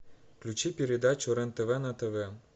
включи передачу рен тв на тв